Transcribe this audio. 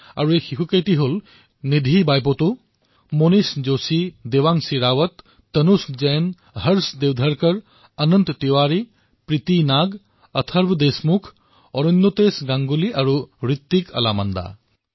তেওঁলোক হল নিধি বাইপটু মনীষ যোশী দেৱাংশী ৰাৱত তনুশ জৈন হৰ্ষ দেৱধাৰকাৰ অনন্ত তিৱাৰী প্ৰীতি নাগ অথৰ্ব দেশমুখ অৰুণ্যতেশ গাংগুলী আৰু হৃত্বিক আলামান্দা